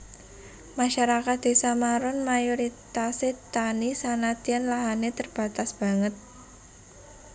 Masarakat Désa Maron mayoritasé tani sanadyan lahané terbatas banget